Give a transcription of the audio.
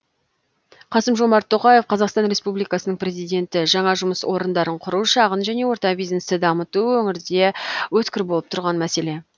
қасым жомарт тоқаев қазақстан республикасының президенті жаңа жұмыс орындарын құру шағын және орта бизнесті дамыту өңірде өткір болып тұрған мәселе